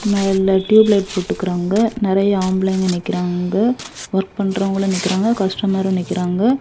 மேல tube light போட்ருக்காங்க நெறைய ஆம்பளைங்க நிக்கறாங்க வொர்க் பண்றவங்களு நிக்கறாங்க கஸ்டமரு நிக்கறாங்க.